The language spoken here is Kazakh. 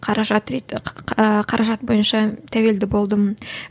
қаражат рет ы қаражат бойынша тәуілді болдым